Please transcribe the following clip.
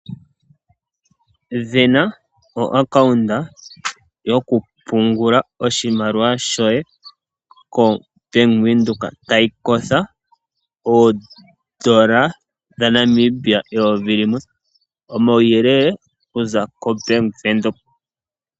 Vena oaccount yokupungula oshimaliwa shoye koBank windhoek tayi kwatha oodola dhaNamibia eyovi limwe. Omauyelele okuza koBank windhoek.